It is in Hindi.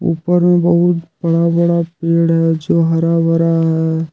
ऊपर में बहुत बड़ा बड़ा पेड़ है जो हरा भरा है।